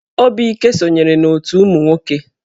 Obike sonyere n'otù ụmụ nwoke.